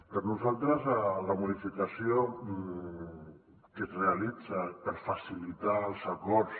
per nosaltres la modificació que es realitza per facilitar els acords